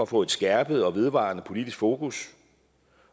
få et skærpet og vedvarende politisk fokus